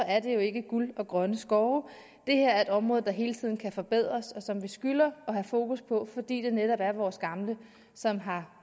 er det jo ikke guld og grønne skove det her er et område der hele tiden kan forbedres og som vi skylder at have fokus på fordi det netop er vores gamle som har